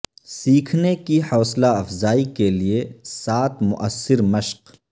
سیکھنے کی حوصلہ افزائی کے لئے سات موثر مشق